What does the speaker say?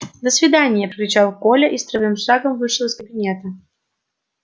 до свидания прокричал коля и строевым шагом вышел из кабинета